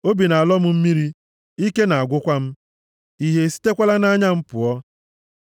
Obi na-alọ m mmiri, ike na-agwụkwa m, ìhè esitekwala nʼanya m pụọ.